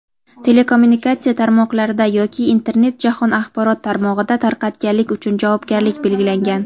telekommunikatsiya tarmoqlarida yoki Internet jahon axborot tarmog‘ida tarqatganlik uchun javobgarlik belgilangan.